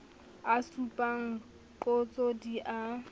a supang qotso di a